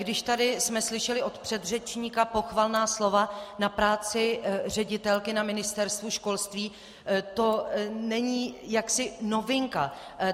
Když jsme tady slyšeli od předřečníka pochvalná slova na práci ředitelky na Ministerstvu školství, to není jaksi novinka.